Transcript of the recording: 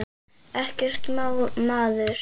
Ekkert má maður!